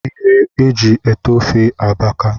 ihe e ji ete ofe abaka